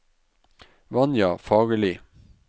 Vanja Fagerli